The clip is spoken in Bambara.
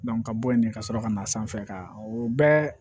ka bɔ yen ka sɔrɔ ka na sanfɛ ka o bɛɛ